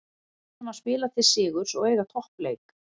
Við reynum að spila til sigurs og eiga toppleik.